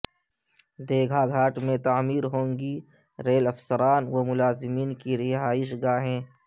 دیگہا گھاٹ میں تعمیر ہونگی ریل افسران و ملازمین کی رہائش گاہیں